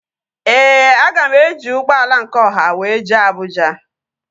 Ee, aga m eji ụgbọala nke ọha wee jee Abụja